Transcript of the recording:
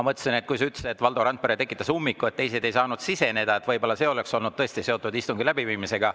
Kui sa ütlesid, et Valdo Randpere tekitas ummiku ja teised ei saanud siseneda, siis ma mõtlesin, et see võib tõesti olla seotud istungi läbiviimisega.